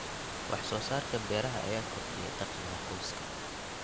Wax soo saarka beeraha ayaa kordhiya dakhliga qoyska.